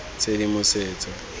tshedimosetso